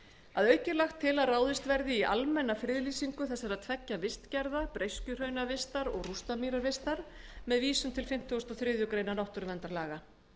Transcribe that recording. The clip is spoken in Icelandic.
að auki er lagt til að ráðist verði í almenna friðlýsingu þessara tveggja vistgerða breiskjuhraunavistar og rústamýravistar með vísun til fimmtugasta og þriðju grein náttúruverndarlaga